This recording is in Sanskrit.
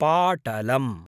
पाटलम्